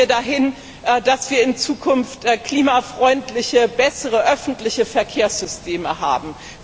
Wie kommen wir dahin, dass wir in Zukunft klimafreundliche, bessere öffentliche Verkehrssysteme haben?